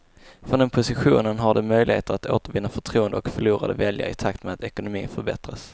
Från den positionen har de möjligheter att återvinna förtroende och förlorade väljare i takt med att ekonomin förbättras.